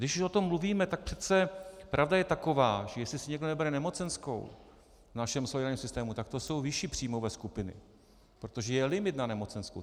Když už o tom mluvíme, tak přece pravda je taková, že jestli si někdo nebere nemocenskou v našem solidárním systému, tak to jsou vyšší příjmové skupiny, protože je limit na nemocenskou.